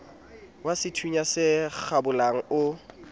wa sethunya se kgabolang o